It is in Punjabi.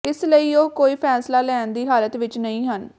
ਇਸ ਲਈ ਉਹ ਕੋਈ ਫ਼ੈਸਲਾ ਲੈਣ ਦੀ ਹਾਲਤ ਵਿੱਚ ਨਹੀਂ ਹਨ